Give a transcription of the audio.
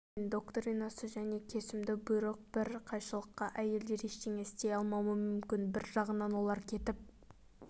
мән доктринасы және кесімді бұйрық бір қайшылықта әйелдер ештеңе істей алмауы мүмкін бір жағынан олар кетіп